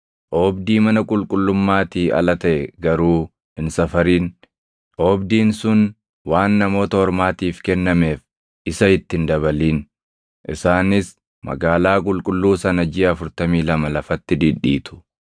Oobdii mana qulqullummaatii ala taʼe garuu hin safarin; oobdiin sun waan Namoota Ormaatiif kennameef isa itti hin dabalin. Isaanis magaalaa qulqulluu sana jiʼa 42 lafatti dhidhiitu.